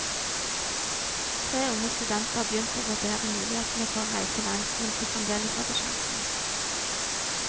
Tre unge studenter begynte å vurdere mulighetene for å reise langt mens de fremdeles hadde sjansen.